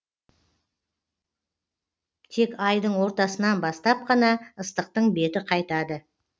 тек айдың ортасынан бастап қана ыстықтың беті қайтады